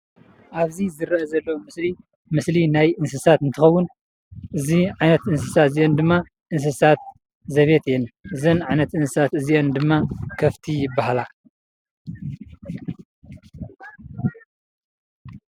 ኣብዚ ዝረአ ዘሎ ምስሊ ምስሊ ናይ እንስሳት እንትኸውን እዚ ዓይነት እንስሳ እዚአን ድማ እንስሳት ዘቤት እየን። እዘን ዓይነት እንስሳት እዚአን ድማ ከፍቲ ይባሃላ።